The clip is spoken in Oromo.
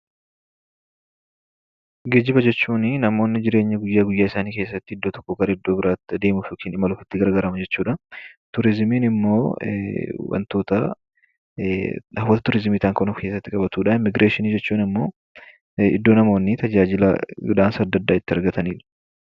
Geejjiba jechuunii namoonni jireenya guyyaa guyyaasaanii keessattii iddoo tokkoo gara iddoo biraatti adeemuuf yokaan imaluuf itti gargaaraman jechuudhaa. Turizimiin immoo wantootaa wantota turizimii ta'an kan of keessatti qabatudha, Immigireeshinii jechuun ammoo iddoo namoonni tajaajila adda addaa itti argatanidha.